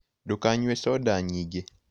Ndũkanyũe soda nyĩngĩ